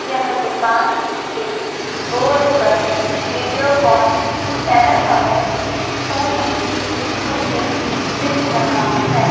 यह दुकान के बोर्ड पर वीडियोकॉन पैनासोनिक सोनी मुझे दिख रहा है।